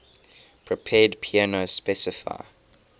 prepared piano specify